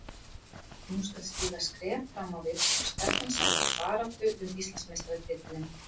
Nú skal stíga skref fram á við og stefnan sett á baráttu um Íslandsmeistaratitilinn.